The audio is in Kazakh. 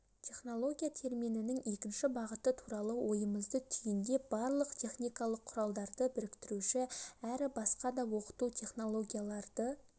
технология терминінің екінші бағыты туралы ойымызды түйіндеп барлық техникалық құралдарды біріктіруші әрі басқа да оқыту технологияларды